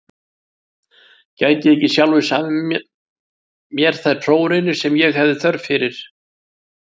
Gæti ég ekki sjálfur samið mér þær prófraunir sem ég hefði þörf fyrir?